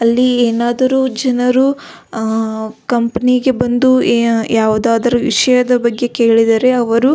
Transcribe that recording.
ಅಲ್ಲಿ ಎನಾದರು ಜನರು ಕಂಪನಿಗೆ ಬಂದು ಯಾವುದಾದರು ವಿಷಯದ ಬಗ್ಗೆ ಕೆಳಿದರೆ ಅವರು --